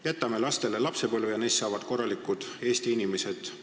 Jätame lastele lapsepõlve ja neist saavad korralikud Eesti inimesed.